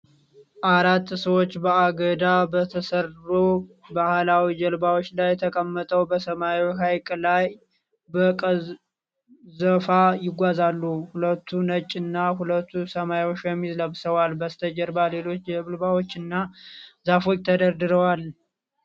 አራት ሰዎች በአገዳ በተሰሩ ባህላዊ ጀልባዎች ላይ ተቀምጠው በሰማያዊ ሐይቅ ላይ በቀዘፋ ይጓዛሉ። ሁለቱ ነጭ እና ሁለቱ ሰማያዊ ሸሚዝ ለብሰዋል። በስተጀርባ ሌሎች ጀልባዎችና ዛፎች ተደርድረዋል።